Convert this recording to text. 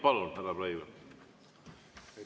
Palun, härra Breivel!